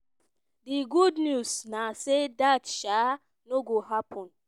"di good news na say dat um no go happun.